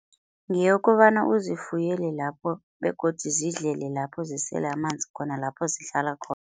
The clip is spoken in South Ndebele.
Ngeyokobana uzifuyele lapho, begodu zidlele lapho, zisele amanzi khona lapho zihlala khona.